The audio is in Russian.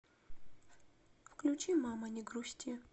включи мама не грусти